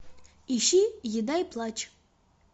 ищи еда и плачь